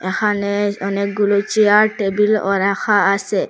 এখানে অনেকগুলো chair table ও রাখা আসে।